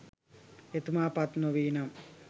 එතුමා පත් නොවීනම්